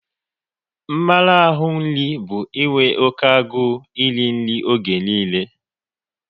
Mmarahu nri bụ inwe oké agụ n'iri nri oge niile